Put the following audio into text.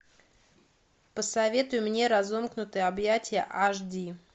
посоветуй мне разомкнутые объятия аш ди